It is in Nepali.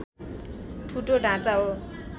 ठुटो ढाँचा हो